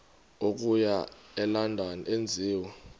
okuya elondon enziwe